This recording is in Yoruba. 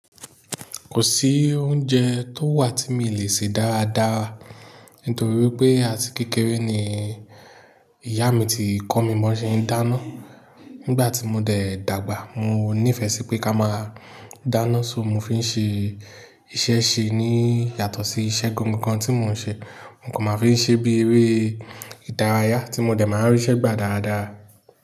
Kò sí oúnjẹ tó wà tí mi ò lè ṣe dáradára nítorí wípé àti kékeré ni ìyá mi ti kọ́ mi bó ṣe ń dáná. Nígbà tí mo dẹ̀ dàgbà, mo nífẹ̀ẹ́ sí pé ká máa dáná so mo fi ń ṣe iṣẹ́ ṣe ní yàtọ̀ sí iṣẹ́ gangan tí mò ń ṣe. Nǹkan ma fi ń ṣe bí eré ìdárayá tí mo dẹ̀ máa ń ríṣẹ́ gbà dáradára.